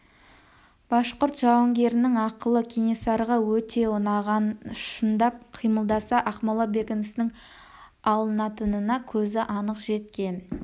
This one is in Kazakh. башқұрт жауынгерінің ақылы кенесарыға өте ұнаған шындап қимылдаса ақмола бекінісінің алынатынына көзі анық жеткен